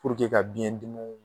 ka biyɛn dimiw